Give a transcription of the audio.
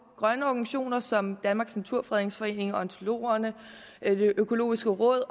grønne organisationer som danmarks naturfredningsforening ornitologerne det økologiske råd